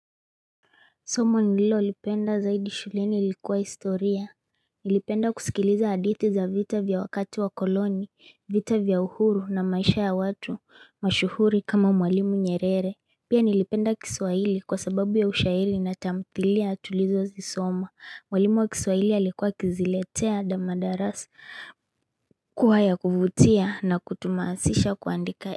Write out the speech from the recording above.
Somo nililolipenda zaidi shuleni ilikuwa historia Nilipenda kusikiliza hadithi za vita vya wakati wa koloni, vita vya uhuru na maisha ya watu mashuhuri kama mwalimu nyerere. Pia nilipenda kiswahili kwa sababu ya ushairi na tamthilia tulizo zisoma. Mwalimu wa kiswahili alikuwa akiziletea madarasa kuwa ya kuvutia na kutuhamasisha kuandika.